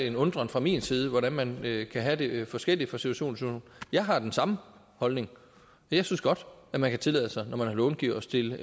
en undren fra min side over hvordan man kan have det forskelligt fra situation jeg har den samme holdning jeg synes godt man kan tillade sig når man er långiver at stille